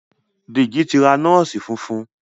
Deji tí ra nọọsi fufun.